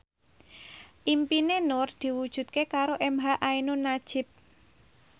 impine Nur diwujudke karo emha ainun nadjib